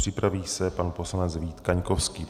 Připraví se pan poslanec Vít Kaňkovský.